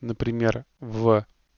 например в